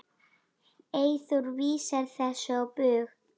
Eyþór vísar þessu á bug.